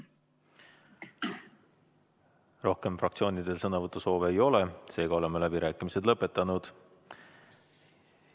Rohkem fraktsioonidel sõnavõtusoove ei ole, seega oleme läbirääkimised lõpetanud.